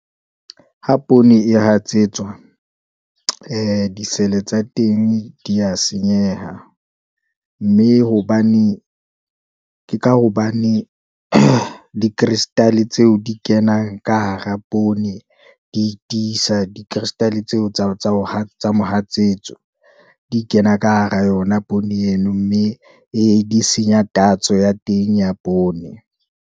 Ha poone e hatsetswa, ee di-cell-e tsa teng di ya senyeha, mme hobane, ke ka hobane di-crystal-e tseo di e kenang ka hara poone, di tisa di-crystal tseo tsa mohatsetso, di kena ka hara yona poone eno, mme ee di senya tatso ya teng ya poone.